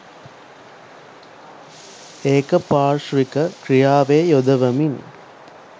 ඒක පාර්ශ්විකව ක්‍රියාවේ යොදවමින්